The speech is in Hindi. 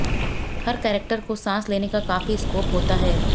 हर कैरेक्टर को सांस लेने का काफी स्कोप होता है